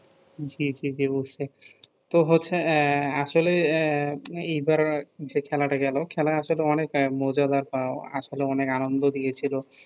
জ্বি জ্বি বুঝছি তো হচ্ছে আহ আসলে এই বার যে খেলা টা গেলো খেলা আসলে অনেক এ মাজাদার আসলে অনেক আনন্দও দিয়েছিলো